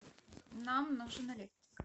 нам нужен электрик